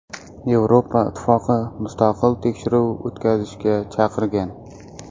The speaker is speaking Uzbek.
Yevropa Ittifoqi mustaqil tekshiruv o‘tkazishga chaqirgan.